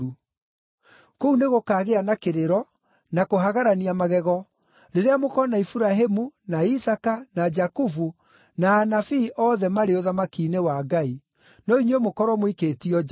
“Kũu nĩgũkagĩa na kĩrĩro, na kũhagarania magego, rĩrĩa mũkoona Iburahĩmu, na Isaaka, na Jakubu, na anabii othe marĩ ũthamaki-inĩ wa Ngai, no inyuĩ mũkorwo mũikĩtio nja.